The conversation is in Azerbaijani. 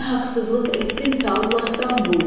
Nə haqsızlıq etdinsə Allahdan bul.